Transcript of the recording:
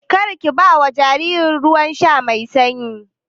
Karki bawa jariri ruwan sha mai sanyi.